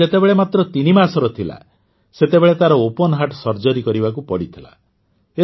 ସେ ଯେତେବେଳେ ମାତ୍ର ତିନି ମାସର ଥିଲା ସେତେବେଳେ ତାର ଓପନ୍ ହାର୍ଟ ସର୍ଜରୀ କରିବାକୁ ପଡ଼ିଥିଲା